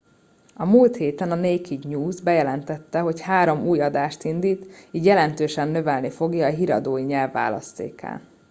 a múlt héten a naked news bejelentette hogy három új adást indít így jelentősen növelni fogja a híradói nyelvi választékát